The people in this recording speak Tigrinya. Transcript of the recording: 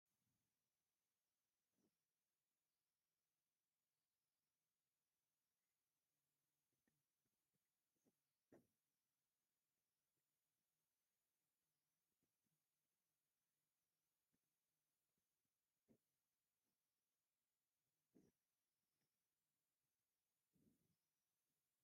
ሰባት ኣብ ፊሊምን ካሜራን ኣብ ዘይነበረሉ እዋን ኣብ ኣደባባይ ብተውኔት መልክዕ ንሰባት የዘናግዑ ነይሮም። ኣብቲ መድረክ ወይ ኣደባባይ እቲ ተውኔት ኣብዝረኣየሉ እዋን እቶም ተዋነይቲ ነፃነት የብሎም ምክንያቱ ንከይሰሓሓቱ ብጣዕሚ እዮም ዝጭንቁን ዝፅበቡን።